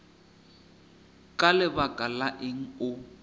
ka lebaka la eng o